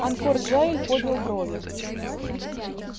анкор джаэль поднял брови